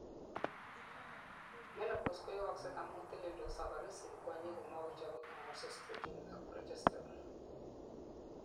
menopause koyooksei amun teleldos ovaries en kwonyik komokochobei hormones estrogen ak progesterone